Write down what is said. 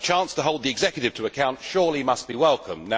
A chance to hold the executive to account surely must be welcomed.